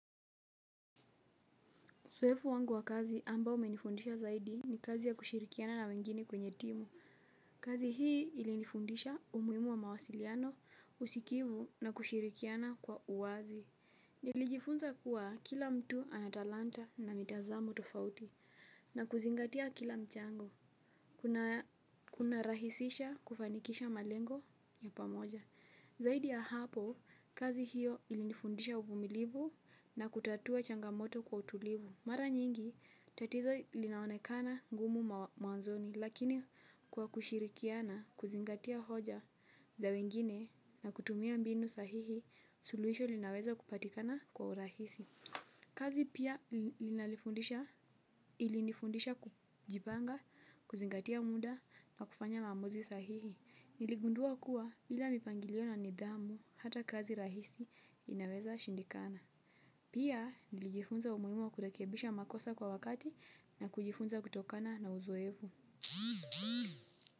Uzoefu wangu wa kazi ambao umenifundisha zaidi ni kazi ya kushirikiana na wengine kwenye timu. Kazi hii ilinifundisha umuhimu wa mawasiliano, usikivu na kushirikiana kwa uwazi. Nilijifunza kuwa kila mtu ana talanta na mitazamo tofauti na kuzingatia kila mchango. Kunarahisisha kufanikisha malengo ya pamoja. Zaidi ya hapo kazi hiyo ilinifundisha uvumilivu na kutatua changamoto kwa utulivu. Mara nyingi, tatizo linaonekana ngumu mawazoni lakini kwa kushirikiana, kuzingatia hoja za wengine na kutumia mbinu sahihi, suluisho linaweza kupatikana kwa urahisi. Kazi pia ilinifundisha kujipanga, kuzingatia muda na kufanya maamuzi sahihi. Niligundua kuwa bila mipangilio na nidhamu hata kazi rahisi inaweza shindikana. Pia, nilijifunza umuuimu wa kurekebisha makosa kwa wakati na kujifunza kutokana na uzoevu.